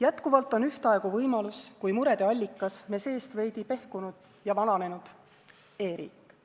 Jätkuvalt on ühtaegu nii võimalus kui ka murede allikas me seest veidi pehkinud ja vananenud e-riik.